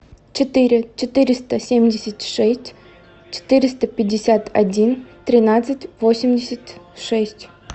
четыре четыреста семьдесят шесть четыреста пятьдесят один тринадцать восемьдесят шесть